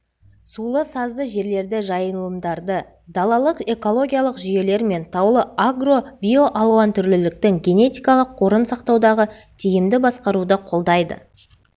сулы-сазды жерлерді жайылымдарды далалық экологиялық жүйелер мен таулы агро биоалуантүрліліктің генетикалық қорын сақтаудағы тиімді басқаруды қолдайды